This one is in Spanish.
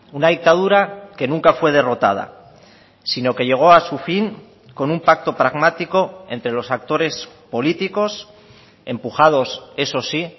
una dictadura que nunca fue derrotada sino que llegó a su fin con un pacto pragmático entre los actores políticos empujados eso sí